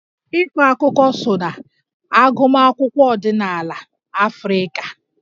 Ịkọ akụkọ so na agụmakwụkwọ ọdịnala Afrịka